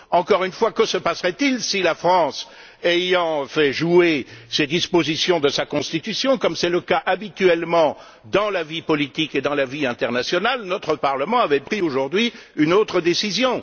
Encore une fois, que se passerait il si, la France ayant fait jouer les dispositions de sa Constitution, comme c'est habituellement le cas dans la vie politique et dans la vie internationale, notre Parlement avait pris aujourd'hui une autre décision?